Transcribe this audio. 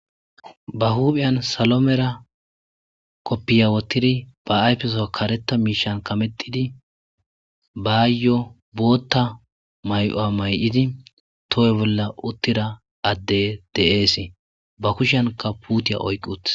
Ba huuphiyan salomera koppiya wotidi ba ayfeso kareta miishan kametidi baayyo bootta may'o'a may'idi tohoy bolla uttira adde de'eesii ba kushanka puutiya oyqiute.